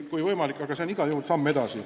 Seegi on igal juhul samm edasi.